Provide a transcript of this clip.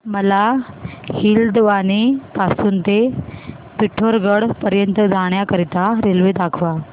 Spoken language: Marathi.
मला हलद्वानी पासून ते पिठोरागढ पर्यंत जाण्या करीता रेल्वे दाखवा